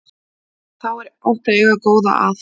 Þá er gott að eiga góða að.